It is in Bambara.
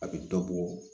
A bɛ dɔ bɔ